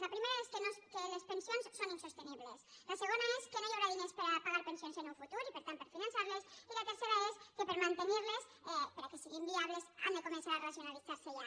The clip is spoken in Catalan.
la primera és que les pensions són insostenibles la segona és que no hi haurà diners per pagar pensions en un futur i per tant per finançar les i la tercera és que per mantenir les perquè siguin viables han de començar a racionalitzar se ja